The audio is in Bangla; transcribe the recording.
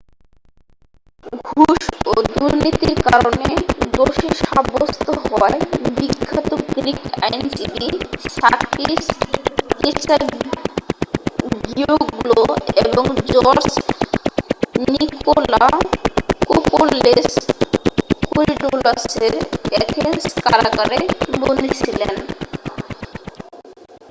ঘুষ ও দুর্নীতির কারণে দোষী সাব্যস্ত হওয়ায় বিখ্যাত গ্রীক আইনজীবী সাকিস কেচাগিওগ্লো এবং জর্জ নিকোলাকোপল্লোস কোরিডালাসের অ্যাথেন্স কারাগারে বন্দী ছিলেন